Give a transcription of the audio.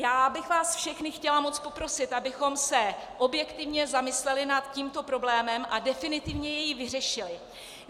Já bych vás všechny chtěla moc poprosit, abychom se objektivně zamysleli nad tímto problémem a definitivně jej vyřešili.